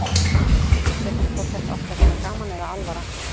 Þau vissu ekki hvort þetta átti að vera gaman eða alvara.